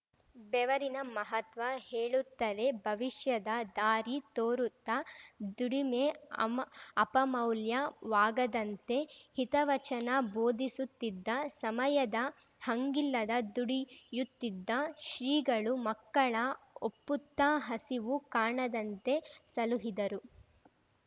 ಬೆವರಿನ ಮಹತ್ವ ಹೇಳುತ್ತಲೇ ಭವಿಷ್ಯದ ದಾರಿ ತೋರುತ್ತ ದುಡಿಮೆ ಅಮ್ ಅಪಮೌಲ್ಯವಾಗದಂತೆ ಹಿತವಚನ ಬೋಧಿಸುತ್ತಿದ್ದ ಸಮಯದ ಹಂಗಿಲ್ಲದ ದುಡಿಯುತ್ತಿದ್ದ ಶ್ರೀಗಳು ಮಕ್ಕಳ ಒಪ್ಪುತ್ತಾ ಹಸಿವು ಕಾಣದಂತೆ ಸಲುಹಿದರು